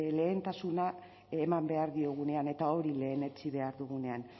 lehentasuna eman behar diogunean eta hori lehenetsi behar dugunean